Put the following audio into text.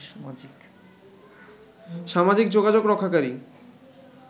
সামাজিক যোগাযোগরক্ষাকারী